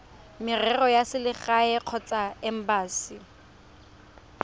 merero ya selegae kgotsa embasi